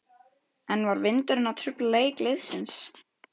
En var vindurinn að trufla leik liðsins?